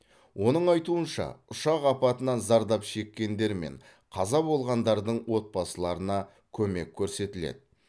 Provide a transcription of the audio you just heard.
оның айтуынша ұшақ апатынан зардап шеккендер мен қаза болғандардың отбасыларына көмек көрсетіледі